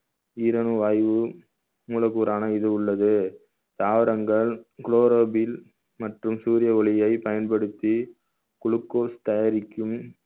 ஈரணு வாய்வு மூலக்கூறான இது உள்ளது தாவரங்கள் chlorophyll மற்றும் சூரிய ஒளியை பயன்படுத்தி glucose தயாரிக்கும்